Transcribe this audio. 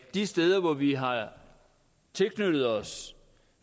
de steder hvor vi har tilknyttet os